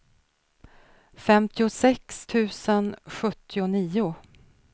femtiosex tusen sjuttionio